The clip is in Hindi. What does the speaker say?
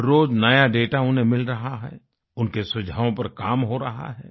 हर रोज नया दाता उन्हें मिल रहा है उनके सुझावों पर काम हो रहा है